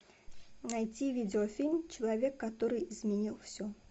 найти видеофильм человек который изменил все